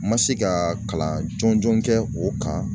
N ma se ka kalan jɔnjɔn kɛ o kan.